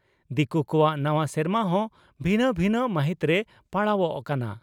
ᱫᱤᱠᱩ ᱠᱚᱣᱟᱜ ᱱᱟᱣᱟ ᱥᱮᱨᱢᱟ ᱦᱚᱸ ᱵᱷᱤᱱᱟᱹ ᱵᱷᱤᱱᱟᱹ ᱢᱟᱦᱤᱛᱨᱮ ᱯᱟᱲᱟᱣᱚᱜ ᱠᱟᱱᱟ ᱾